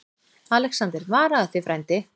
ALEXANDER: Varaðu þig, frændi.